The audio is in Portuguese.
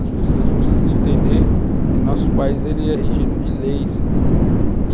As pessoas precisam entender que nosso país ele é regido de leis.